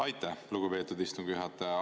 Aitäh, lugupeetud istungi juhataja!